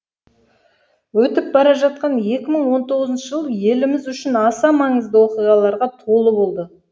өтіп бара жатқан екі мың он тоғызыншы жыл еліміз үшін аса маңызды оқиғаларға толы болды